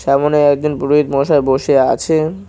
সামোনে একজন পুরোহিত মশাই বসে আছেন।